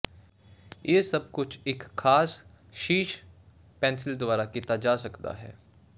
ਇਹ ਸਭ ਕੁਝ ਇੱਕ ਖਾਸ ਸ਼ੀਸ਼ ਪੈਨਸਿਲ ਦੁਆਰਾ ਕੀਤਾ ਜਾ ਸਕਦਾ ਹੈ